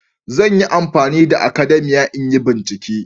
Zan yi amfani da akadamiya in yi bincike